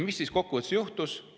Mis siis kokkuvõttes juhtus?